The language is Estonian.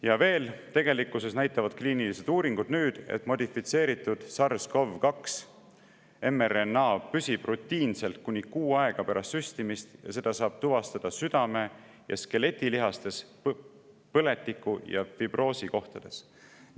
Ja veel, tegelikkuses näitavad nüüd kliinilised uuringud, et modifitseeritud SARS-CoV-2 mRNA püsib kuni kuu aega pärast süstimist ja seda saab tuvastada südame- ja skeletilihastes põletiku ja fibroosi kohtades.